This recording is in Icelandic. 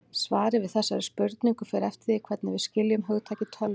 Svarið við þessari spurningu fer eftir því hvernig við skiljum hugtakið tölva.